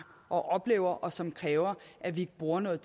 og oplever og som kræver at vi bruger noget